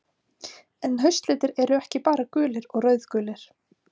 en haustlitir eru ekki bara gulir og rauðgulir